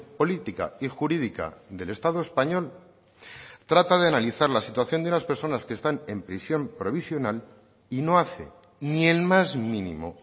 política y jurídica del estado español trata de analizar la situación de unas personas que están en prisión provisional y no hace ni el más mínimo